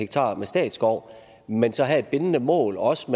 med statsskov men så have et bindende mål om også